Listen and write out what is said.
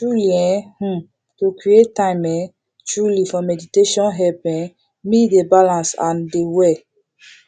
truely eeh um to create time um truely for meditation help um me dey balance and dey well